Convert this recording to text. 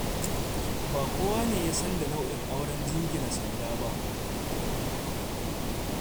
Ba kowane ya san da nau'in auren jingina sanda ba.